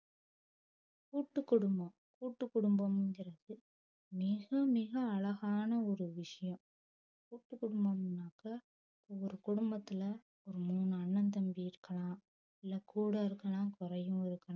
கூட்டு குடும்பம் கூட்டு குடும்பம்கிறது மிக மிக அழகான ஒரு விஷயம் கூட்டு குடும்பம்னாக்க ஒரு குடும்பத்துல ஒரு மூணு அண்ணன் தம்பி இருக்கலாம் இல்ல கூடவும் இருக்கலாம் கொறையவும் இருக்கலாம்